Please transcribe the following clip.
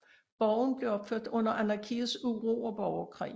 Borgen blev opført under Anarkiets uro og borgerkrig